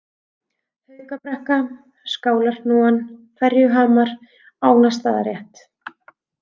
Haukabrekka, Skálarhnúan, Ferjuhamar, Ánastaðarétt